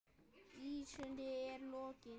Vísunni er lokið.